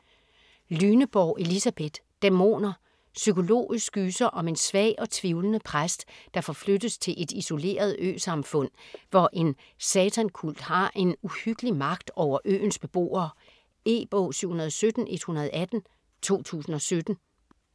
Lyneborg, Elisabeth: Dæmoner Psykologisk gyser om en svag og tvivlende præst, der forflyttes til et isoleret øsamfund, hvor en satankult har en uhyggelig magt over øens beboere. E-bog 717118 2017.